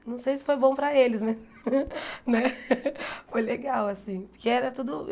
Não sei se foi bom para eles, mas né foi legal assim. Que era tudo